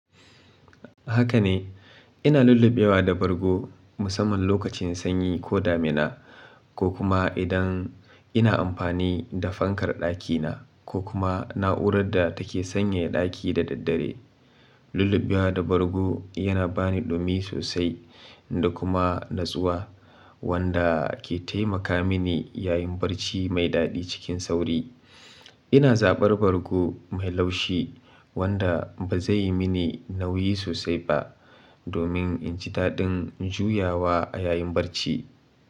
Haka ne, ina lullubewa da bargo musamman lokacin sanyi ko damina, ko kuma idan ina amfani da fankar ɗakina ko kuma na'urar da take sanyaya ɗaki da daddare. Lullubewa da bargo yana bani dumi sosai da kuma natsuwa wanda ke taimaka mini yayin barci mai daɗi cikin sauri. Ina zaɓar bargo mai laushi wanda ba zai yi mini nauyi sosai ba domin in ji daɗin juyawa a yayin barci.